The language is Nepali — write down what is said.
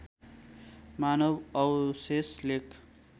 मानव अवशेष लेक